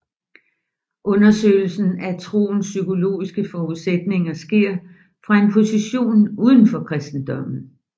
Undersøgelsen af troens psykologiske forudsætninger sker fra en position uden for kristendommen